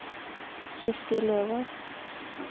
Kirsti Løvås